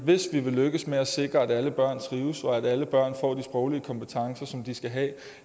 hvis vi vil lykkes med at sikre at alle børn trives og at alle børn får de sproglige kompetencer som de skal have